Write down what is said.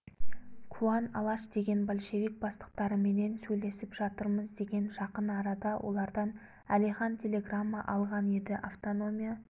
куан алаш деген большевик бастықтарыменен сөйлесіп жатырмыз деген жақын арада олардан әлихан телеграмма алған еді автономия